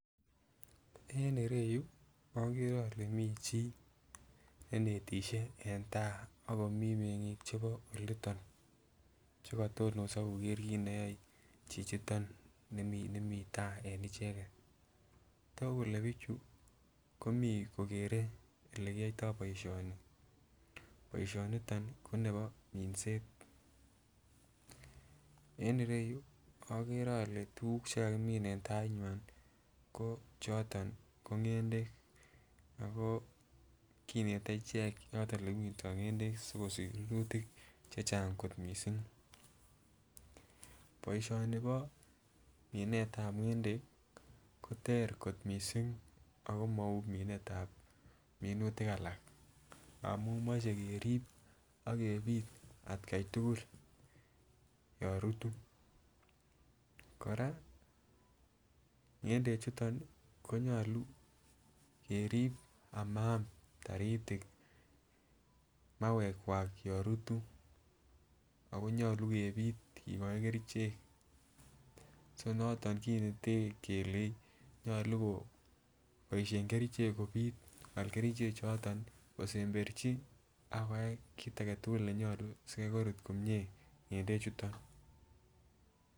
En ireyuu okere ole mii chii ne inetishei en tai akomii mengik chebo oliton chekotonoso koker kit neyoe chichito nimii tai en icheket toku kole bichu komii kokere olekiyoito boishonik, boishoniton nii ko nebo minset. En ireyuu okere ole tukuk chekakimin en tai neywan ko choton ko ngendek ako kinet ichek choton olekimindo ngendek sikosich rurutik chechang kot missing. Boishoni bo minet tab ngendek kotere kot missing ako mou minetab minutik alak ngamun moche kerib akebit atgai tukul yon rutu, Koraa ngendek chutok konyolu kerib amaam taritik mauwek Kwak yon rutu ako nyolu kebit kikoik kerichek so noton kinete kelei nyolu koboishen kerichek kobit kowal kerichek choton kosemberchi akoyai kit agetukul nenyolu sikai korut komie ngendek chuton.